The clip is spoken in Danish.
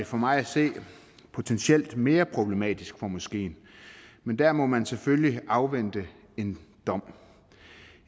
for mig at se potentielt mere problematisk for moskeen men der må man selvfølgelig afvente en dom